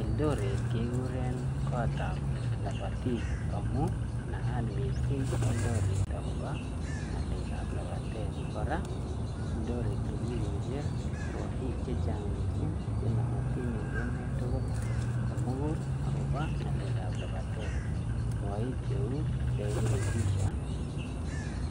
Eldoret kekuren kotab lopotik amun naat mising' Eldoret akobo ng'alek ab lapatet kora Eldoret kikurchi rwoik chechang' mising' chenooti en emet tugl komugul akobo ng'alek ab lapatet rwoik cheu Devid Rudisha ii